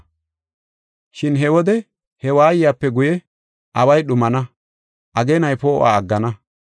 “Shin he wode he waayiyape guye, away dhumana; ageenay poo7uwa aggana.